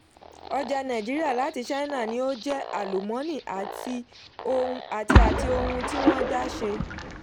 ọjà nàìjíríà láti china ní ó jẹ́ àlùmọ́nì àti àti ohun tí wọ́n dá ṣe.